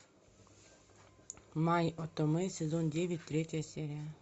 май отомэ сезон девять третья серия